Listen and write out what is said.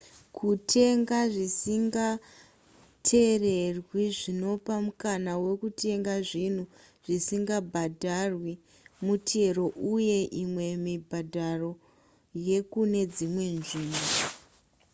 kutenga zvisinga tererwi zvinopa mukana wekutenga zvinhu zvisingabhadharwi mutero uye imwe mibhadharo yekune dzimwe nzvimbo